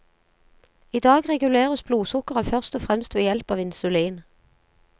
I dag reguleres blodsukkeret først og fremst ved hjelp av insulin.